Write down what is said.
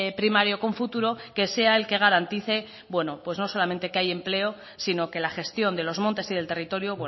primario con futuro que sea el que garantice pues no solamente que haya empleo sino que la gestión de los montes y del territorio